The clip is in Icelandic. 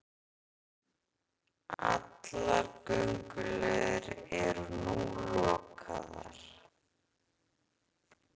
Allar aðgönguleiðir eru núna lokaðar